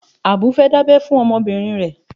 Àbúrò fẹ́ dábẹ́ fún ọmọbìnrin rẹ̀.